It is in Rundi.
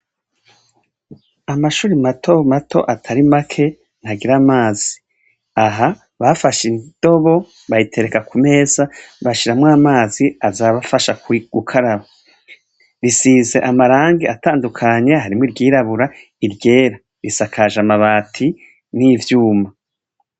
Amashuri mato mato atari make ntagira amazi . Aha, bafashe indobo bayitereka ku meza, bashiramwo amazi, aza arabafasha gukaraba. Risize amarangi atandukanye harimwo iryirabura, iryera . Risakajwe amabati, n' ivyuma .